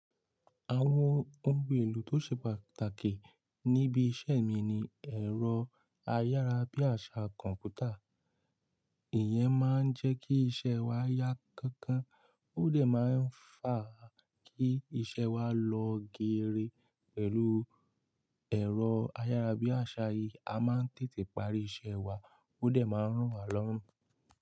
Àwọn ohun èlò tó ṣe pàtàkì níbi iṣẹ́ mi ni ẹ̀rọ ayárabíàṣá kọ̀ǹpútà Ìyẹn máa ń jẹ́ kí iṣẹ́ wa yá kánkán. Óò dẹ̀ máa ń fa kí iṣẹ́ wa lọ geere. Pẹ̀lú ẹ̀rọ ayárabíàṣá yìí, a máa ń tètè parí iṣẹ́ wa, óò dẹ̀ máa ń rùn wá lọ́rùn.